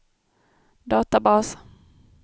databas